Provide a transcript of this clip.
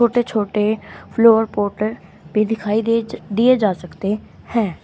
छोटे छोटे flower pot भी दिखाई दे दिए जा सकते हैं।